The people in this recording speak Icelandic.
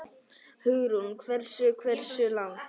Hugrún: Hversu, hversu langt?